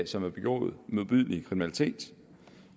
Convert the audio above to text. som har begået modbydelig kriminalitet